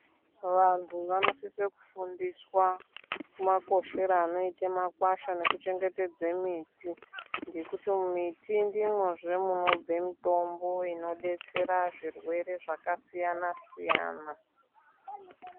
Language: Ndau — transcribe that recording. Vantu vanosisa kufundiswa makoshere anoita makwasha nekuchengetedze miti ngekuti muti ndimwozve munobve mutombo inodetsera zvirwere zvakasiyana siyana.